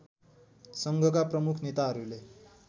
सङ्घका प्रमुख नेताहरूले